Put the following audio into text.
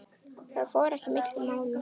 Það fór ekki milli mála.